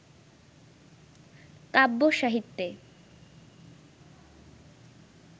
কাব্য-সাহিত্যে